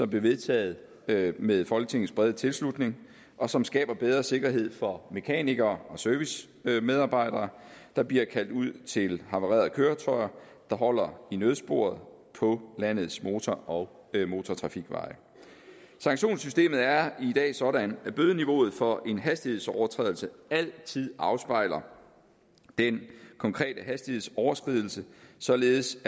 blev vedtaget med med folketingets brede tilslutning og som skaber bedre sikkerhed for mekanikere og servicemedarbejdere der bliver kaldt ud til havarerede køretøjer der holder i nødsporet på landets motor og motortrafikveje sanktionssystemet er i dag sådan at bødeniveauet for en hastighedsovertrædelse altid afspejler den konkrete hastighedsoverskridelse således